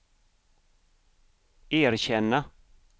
erkänna